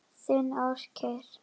Þinn Ásgeir.